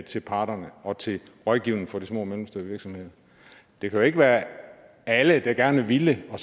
til parterne og til rådgivning for de små og mellemstore virksomheder det kan jo ikke være alle der gerne ville og